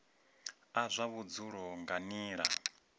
a zwa vhudzulo nga nila